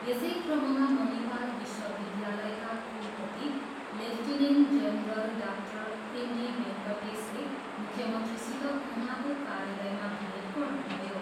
यसै क्रममा मनिपाल विश्वविद्यालयका कुलपति lieutenant general doctor M D भेङ्कटेसले मुख्यमन्त्रीसित उहाँको कार्यालयमा भेट गर्नुभयो।